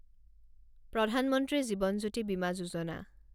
প্ৰধান মন্ত্ৰী জীৱন জ্যোতি বিমা যোজনা